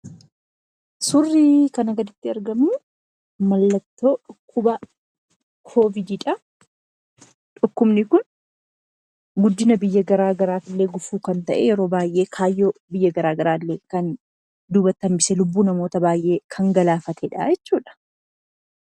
Suurri kana gaditti argamu mallattoo dhukkuba Coviidiidha. Dhukkubni kun guddina biyya gara garaa irrattillee gufuu kan ta’e, guddina biyya baay'ee duubatti kan hambisee fi Lubbuu namoota baay'ee kan galaafateedha jechuudha.